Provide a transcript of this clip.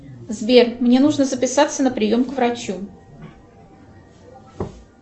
сбер мне нужно записаться на прием к врачу